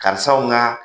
Karisaw ka